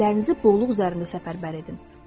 fikirlərinizi bolluq üzərinə səfərbər edin.